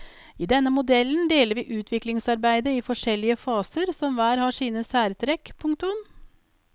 I denne modellen deler vi utviklingsarbeidet i forskjellige faser som hver har sine særtrekk. punktum